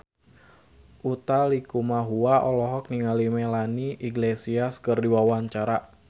Utha Likumahua olohok ningali Melanie Iglesias keur diwawancara